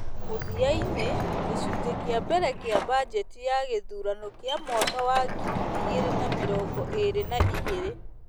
Mũthia-inĩ, gĩcunjĩ kĩa mbere kĩa bajeti ya gĩthurano kĩa mwaka wa ngiri igĩrĩ na mĩrongo ĩrĩ na igĩrĩ,